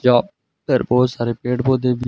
जो इधर बहुत सारे पेड़ पौधे भी--